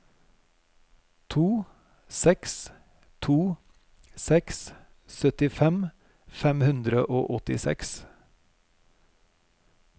to seks to seks syttifem fem hundre og åttiseks